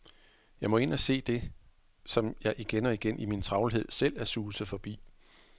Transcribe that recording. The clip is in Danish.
Jeg må ind og se det, som jeg igen og igen, i min travlhed, selv er suset forbi.